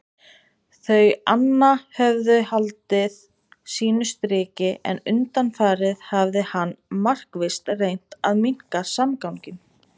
Þau anna höfðu haldið sínu striki en undanfarið hafði hann markvisst reynt að minnka samganginn.